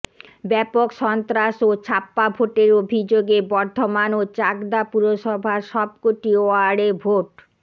ব্যাপক সন্ত্রাস ও ছাপ্পা ভোটের অভিযোগে বর্ধমান ও চাকদা পুরসভার সবকটি ওয়ার্ডে ভোট